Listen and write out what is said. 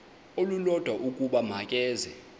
olulodwa ukuba makeze